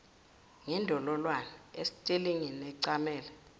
ngendololwane esitelingini ecamele